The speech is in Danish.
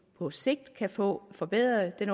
på sigt kan få forbedret